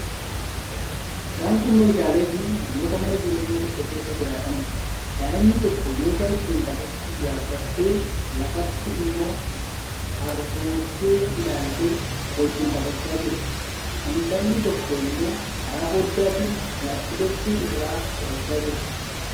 Isaan kun meeshaaleefi namoota mana jireenyaa tokko keessa jiraataniidha. Daa'imni tokko meeshaa ittiin taphattu yaabbattee, lafatti immoo hargoggee ilaaltee wajjin taphachaa jirti. Intalli tokko immoo karaa foddaatiin laap-tooppii irraa qo'achaa jirti.